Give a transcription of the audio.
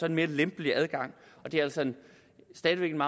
en mere lempelig adgang det er altså stadig væk en